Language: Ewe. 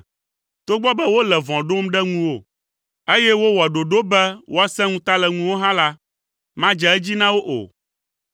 Togbɔ be wole vɔ̃ ɖom ɖe ŋuwò, eye wowɔ ɖoɖowo be woasẽ ŋuta le ŋuwò hã la, madze edzi na wo o,